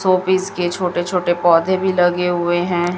Show piece के छोटे छोटे पौधे भी लगे हुए हैं।